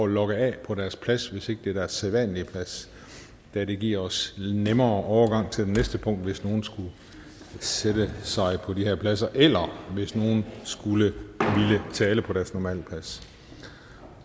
logge af på deres plads hvis ikke det er deres sædvanlige plads da det giver os nemmere overgang til det næste punkt hvis nogen skulle sætte sig på de her pladser eller hvis nogen skulle ville tale fra deres normale plads